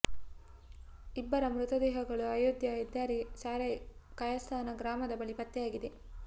ಇಬ್ಬರ ಮೃತದೇಹಗಳು ಅಯೋಧ್ಯೆ ಹೆದ್ದಾರಿಯ ಸಾರೈ ಕಾಯಸ್ಥಾನ್ ಗ್ರಾಮದ ಬಳಿ ಪತ್ತೆಯಾಗಿದೆ